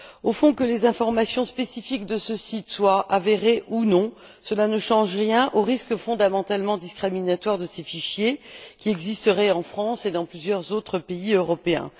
Au fond, que les informations spécifiques de ce site soient avérées ou non, cela ne change rien au risque fondamentalement discriminatoire induit par ces fichiers qui existeraient en France et dans plusieurs autres pays européens.